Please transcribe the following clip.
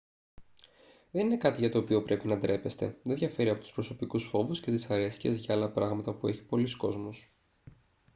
δεν είναι κάτι για το οποίο πρέπει να ντρέπεστε δεν διαφέρει από τους προσωπικούς φόβους και δυσαρέσκειες για άλλα πράγματα που έχει πολύς κόσμος